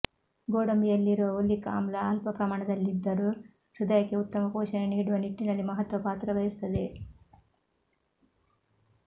ಗೋಡಂಬಿಯಲ್ಲಿರುವ oleic ಆಮ್ಲ ಅಲ್ಪ ಪ್ರಮಾಣದಲ್ಲಿದ್ದರೂ ಹೃದಯಕ್ಕೆ ಉತ್ತಮ ಪೋಷಣೆ ನೀಡುವ ನಿಟ್ಟಿನಲ್ಲಿ ಮಹತ್ವ ಪಾತ್ರವಹಿಸುತ್ತದೆ